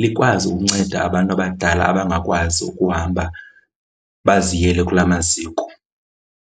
likwazi ukunceda abantu abadala abangakwazi ukuhamba baziyele kulaa maziko.